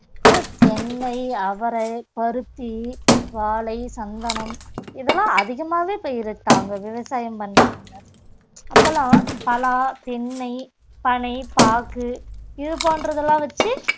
அப்புறம் தென்னை, அவரை, பருத்தி, வாழை, சந்தனம் இதெல்லாம் அதிகமாவே பயிரிட்டாங்க விவசாயம் பண்ணாங்க அப்பெல்லாம் பலா, தென்னை, பனை, பாகு இது போன்றதெல்லாம் வச்சு